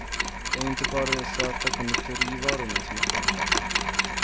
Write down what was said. Det är inte bara de söta konditorivarorna som är feta.